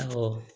Awɔ